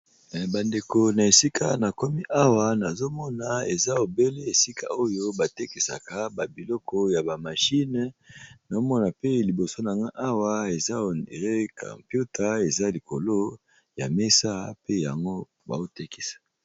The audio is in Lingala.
bandeko na esika na komi awa nazomona eza ebele esika oyo batekisaka babiloko ya ba mashine nazomona pe liboso na nga awa eza onere campiuta eza likolo ya mesa pe yango baotekisa